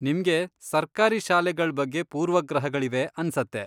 ನಿಮ್ಗೆ ಸರ್ಕಾರಿ ಶಾಲೆಗಳ್ ಬಗ್ಗೆ ಪೂರ್ವಗ್ರಹಗಳಿವೆ ಅನ್ಸತ್ತೆ.